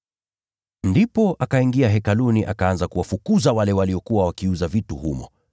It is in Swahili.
Ndipo akaingia eneo la Hekalu, akaanza kuwafukuza wale waliokuwa wakiuza vitu humo.